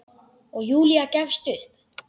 Og Júlía gefst upp.